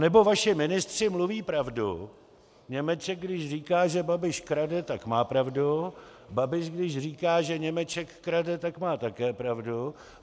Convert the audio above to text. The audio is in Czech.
Anebo vaši ministři mluví pravdu, Němeček, když říká, že Babiš krade, tak má pravdu, Babiš když říká, že Němeček krade, tak má také pravdu.